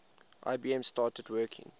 ibm started working